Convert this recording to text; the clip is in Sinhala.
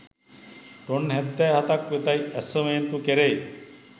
ටොන් හැත්තෑ හතක් වෙතැයි ඇස්තමේන්තු කෙරෙයි